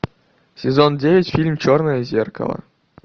сезон девять фильм черное зеркало